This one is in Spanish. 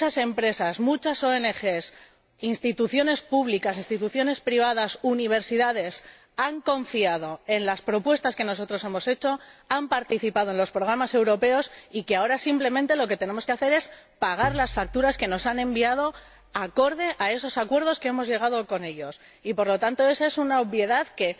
que muchas empresas, ONG, instituciones públicas, instituciones privadas y universidades han confiado en las propuestas que nosotros hemos hecho, han participado en los programas europeos y ahora lo que tenemos que hacer es simplemente pagar las facturas que nos han enviado en relación con esos acuerdos a los que hemos llegado con ellos. Y, por lo tanto, esa es una obviedad que